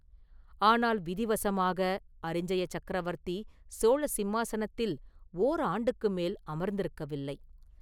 ஆனால் விதிவசமாக அரிஞ்சய சக்கரவர்த்தி சோழ சிம்மாசனத்தில் ஓர் ஆண்டுக்கு மேல் அமர்ந்திருக்கவில்லை.